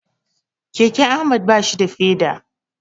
Keken Ahmad bashi da feda.